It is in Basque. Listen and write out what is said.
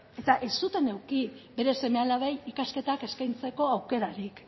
eta ez zuten eduki bere seme alabei ikasketak eskaintzeko aukerarik